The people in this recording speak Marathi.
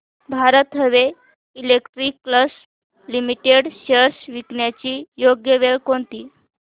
Bharat heavy electricals limited shares विकण्याची योग्य वेळ कोणती